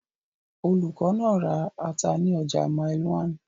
Olùkọ́ náà ra ata ní ọjà Mile 1.